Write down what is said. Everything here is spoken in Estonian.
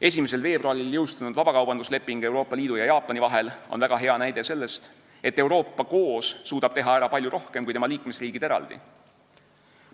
1. veebruaril jõustunud vabakaubandusleping Euroopa Liidu ja Jaapani vahel on väga hea näide selle kohta, et Euroopa suudab koos teha ära palju rohkem kui tema liikmesriigid eraldi.